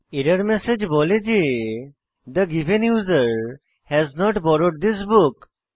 error message বলে যে the given user has not borrowed this book